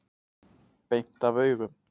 Beint af augum.